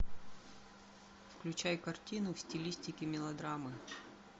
включай картину в стилистике мелодрамы